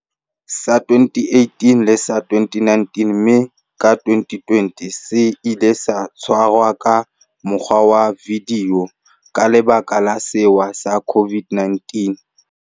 sa 2018 le sa 2019, mme ka 2020 se ile sa tshwarwa ka mokgwa wa vidio ka lebaka la sewa sa COVID-19.